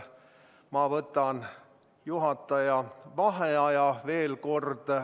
Ma võtan juhataja vaheaja, veel kord.